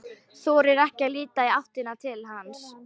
Þorir ekki að líta í áttina til hans.